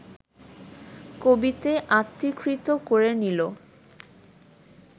কবিতে আত্মীকৃত করে নিল